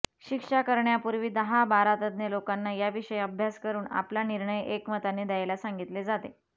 शिक्षा करण्यापूर्वी दहा बारा तज्ज्ञ लोकांना याविषयी अभ्यास करून आपला निर्णय एकमताने द्यायला सांगितले जाते